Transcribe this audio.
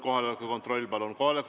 Kohaloleku kontroll, palun!